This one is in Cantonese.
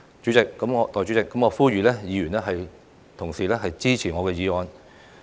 代理主席，我呼籲議員支持我的議案。